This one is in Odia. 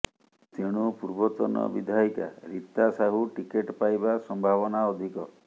ତେଣୁ ପୂର୍ବତନ ବିଧାୟିକା ରୀତା ସାହୁ ଟିକେଟ ପାଇବା ସମ୍ଭାବନା ଅଧିକ